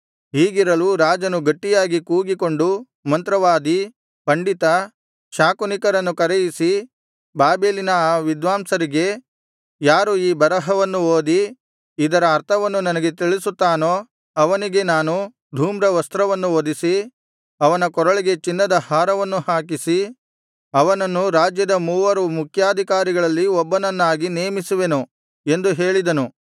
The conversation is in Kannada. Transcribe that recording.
ಹೀಗಿರಲು ರಾಜನು ಗಟ್ಟಿಯಾಗಿ ಕೂಗಿಕೊಂಡು ಮಂತ್ರವಾದಿ ಪಂಡಿತ ಶಾಕುನಿಕರನ್ನು ಕರೆಯಿಸಿ ಬಾಬೆಲಿನ ಆ ವಿದ್ವಾಂಸರಿಗೆ ಯಾರು ಈ ಬರಹವನ್ನು ಓದಿ ಇದರ ಅರ್ಥವನ್ನು ನನಗೆ ತಿಳಿಸುತ್ತಾನೋ ಅವನಿಗೆ ನಾನು ಧೂಮ್ರವಸ್ತ್ರವನ್ನು ಹೊದಿಸಿ ಅವನ ಕೊರಳಿಗೆ ಚಿನ್ನದ ಹಾರವನ್ನು ಹಾಕಿಸಿ ಅವನನ್ನು ರಾಜ್ಯದ ಮೂವರು ಮುಖ್ಯಾಧಿಕಾರಿಗಳಲ್ಲಿ ಒಬ್ಬನನ್ನಾಗಿ ನೇಮಿಸುವೆನು ಎಂದು ಹೇಳಿದನು